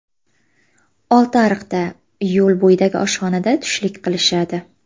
Oltiariqda, yo‘l bo‘yidagi oshxonada tushlik qilishadi.